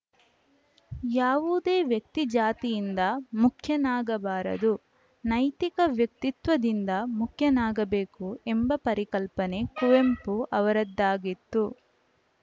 ಯಾವುದೇ ವ್ಯಕ್ತಿಜಾತಿಯಿಂದ ಮುಖ್ಯನಾಗಬಾರದು ನೈತಿಕ ವ್ಯಕ್ತಿತ್ವದಿಂದ ಮುಖ್ಯನಾಗಬೇಕು ಎಂಬ ಪರಿಕಲ್ಪನೆ ಕುವೆಂಪು ಅವರದಾಗಿತ್ತು